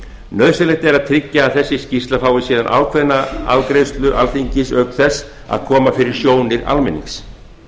nauðsynlegt er að tryggja að þessi skýrsla fái síðan ákveðna afgreiðslu alþingis auk þess að koma fyrir sjónir almennings